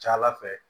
Ca ala fɛ